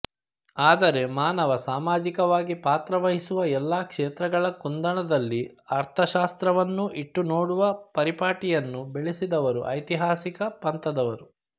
ಆದರೆ ಮಾನವ ಸಾಮಾಜಿಕವಾಗಿ ಪಾತ್ರವಹಿಸುವ ಎಲ್ಲ ಕ್ಷೇತ್ರಗಳ ಕುಂದಣದಲ್ಲಿ ಅರ್ಥಶಾಸ್ತ್ರವನ್ನೂ ಇಟ್ಟು ನೋಡುವ ಪರಿಪಾಟಿಯನ್ನು ಬೆಳೆಸಿದವರು ಐತಿಹಾಸಿಕ ಪಂಥದವರು